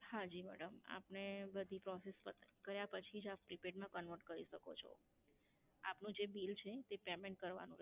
હાંજી madam, આપને બધી process કર્યાં પછી જ આપ પ્રીપેડ માં કન્વર્ટ કરી શકો છો. આપનું જે બિલ છે તે પેમેન્ટ કરવાનું રહેશે.